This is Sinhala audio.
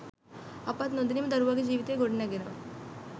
අපත් නොදැනිම දරුවාගේ ජීවිතය ගොඩනැඟෙනවා.